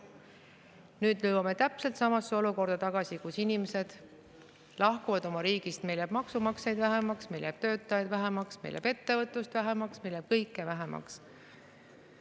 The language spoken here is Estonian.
Nüüd jõuame tagasi täpselt samasse olukorda, kus inimesed lahkuvad oma riigist, meil jääb maksumaksjaid vähemaks, meil jääb töötajaid vähemaks, meil jääb ettevõtlust vähemaks, meil jääb kõike vähemaks.